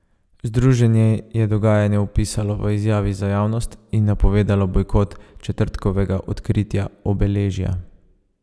Združenje je dogajanje opisalo v izjavi za javnost in napovedalo bojkot četrtkovega odkritja obeležja.